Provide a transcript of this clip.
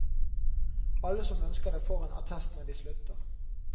Alle som ønsker det får en attest når de slutter.